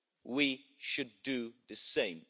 we should do the same.